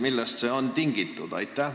Millest see on tingitud?